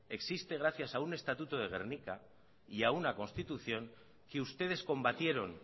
existe gracias a un estatuto de gernika y a una constitución que ustedes combatieron